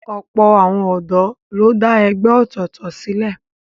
Ọ̀pọ̀ àwọn ọ̀dọ́ ló dá ẹgbẹ́ ọ̀tọ̀ọ̀tọ̀ sílẹ̀